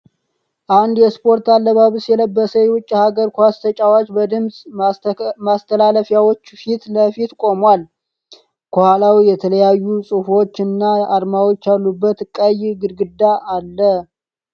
አንድ የስፖርት አለባበስ የለበሰ የዉጭ ሃገር ኳስ ተጫዋች በድምጽ ማስተላለፊያዎች ፊት ለፊት ቆሟል። ከኋላውም የተለያዩ ጽሁፎች እና አርማዎች ያሉበት ቀይ ግድግዳ አለ።